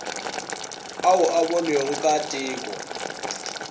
ao a bonwego ka teko